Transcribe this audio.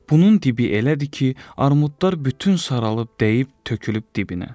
Bunun dibi elədir ki, armudlar bütün saralıb, dəyib, tökülüb dibinə.